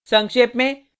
संक्षेप में